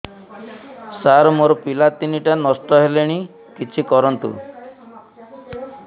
ସାର ମୋର ପିଲା ତିନିଟା ନଷ୍ଟ ହେଲାଣି କିଛି କରନ୍ତୁ